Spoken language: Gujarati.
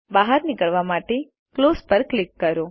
બહાર નીકળવા માટે ક્લોઝ પર ક્લિક કરો